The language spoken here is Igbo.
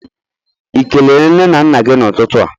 I kelere nne na nna gi n'ututu a?